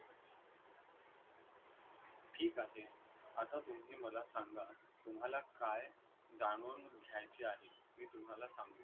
ठीक आहे. आता तुम्ही मला सांगा, तुम्हाला काय जाणून घ्यायचे आहे? मी तुम्हाला सांगतो.